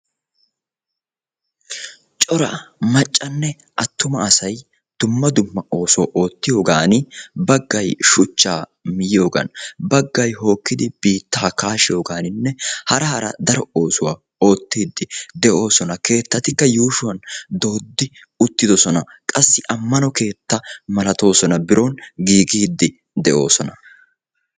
Cora maccanne attuma asay dumma dumma oosuwa oottiyogani baggay shuchchaa miyiyoogan baggay hookkidi biittaa kaashiyoganinne hara hara daro oosuwa oottidi de'oosona keettatikka yuushuwan dooddi uttiddossona. Qassi ammano keettaa malattooson biron giiggiidi de'oosona.